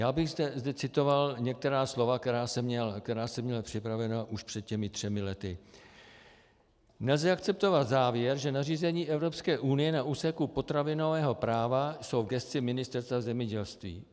Já bych zde citoval některá slova, která jsem měl připravena už před těmi třemi lety: Nelze akceptovat závěr, že nařízení Evropské unie na úseku potravinového práva jsou v gesci Ministerstva zemědělství.